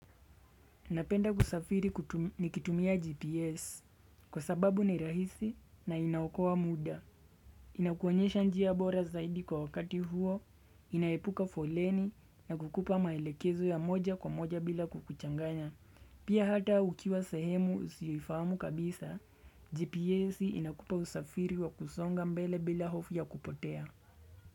Napenda kusafiri nikitumia GPS kwa sababu ni rahisi na inaokoa muda. Inakuonyesha njia bora zaidi kwa wakati huo, inaepuka foleni na kukupa maelekezo ya moja kwa moja bila kukuchanganya. Pia hata ukiwa sehemu usiyoifamu kabisa, GPS inakupa usafiri wa kusonga mbele bila hofu ya kupotea.